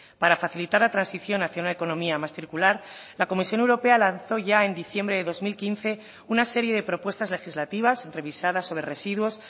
para facilitar la transición hacia una economía más circular la comisión europea lanzó ya en diciembre de dos mil quince una serie de propuestas legislativas revisadas sobre residuos